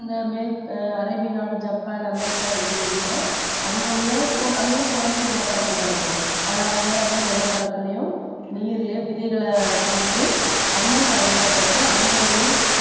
அந்த மேற்~ அரேபிய நாடு, ஜப்பான், அமெரிக்கான்னு எடுத்துக்கிட்டின்னா அங்க உள்ள கு~ அங்கெல்லாம் குறைஞ்ச நிலப்பரப்புதான் இருக்கும் ஆனா அவங்க அந்த நிலப்பரப்புலயும் நீர்லயும் விதைகளைப் போட்டு அதையும் பயிரிடப்பட்டு அந்த இதையும்